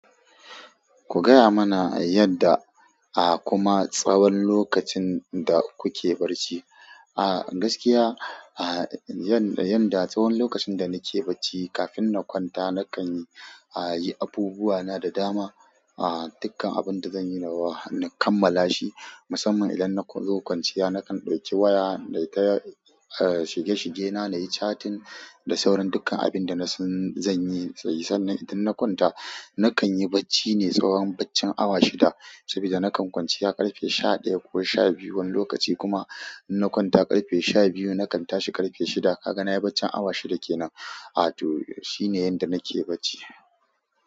Ku gaya mana yadda, ah kuma tsawon lokacin da kuke barci. Ah gaskiya ah yanda yanda tsawon lokacin da nake bacci kafin na kwanta na kanyi ah abubuwa na da dama. Ah, dukkan abunda zanyi nawa, na kammala shi musamman idan na zo kwanciya nakan ɗauki waya nai ta shige-shige na, nayi chatting da sauran dukkan abinda nasan zan yi. Sannan idan na kwanta, nakan yi bacci ne tsawon baccin awa shida sabida nakan kwanciya ƙarfe sha ɗaya ko sha biyu wani lokaci kuma in na kwanta ƙarfe sha biyu nakan tashi ƙarfe shida. Kaga nayi baccin awa shida kenan. A, to, shine yanda nake bacci.